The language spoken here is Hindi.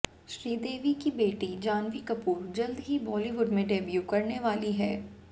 श्रीदेवी की बेटी जाह्नवी कपूर जल्द ही बॉलीवुड में डेब्यू करने वाली है